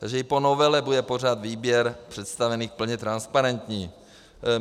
Takže i po novele bude pořád výběr představených plně transparentní.